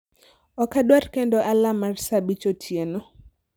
Ok adwar kendo alarm mar saa abich otieno